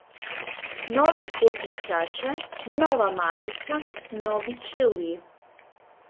Nove spodnje hlače, nova majica, novi čevlji.